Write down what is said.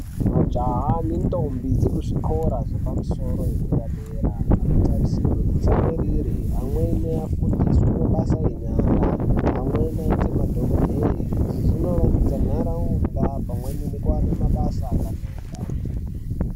Majaha nendombi dzekuzvikora zvepamusoro zvedera dera anotarisirwa kutsamwirira amweni afundiswe mabasa enyara amweni aite madhokodheya izvi zvinovandudza kuti nharaunda iwanikwe mabasa akanaka.